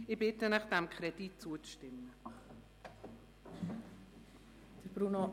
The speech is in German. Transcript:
Ich bitte Sie, dem Kredit zuzustimmen.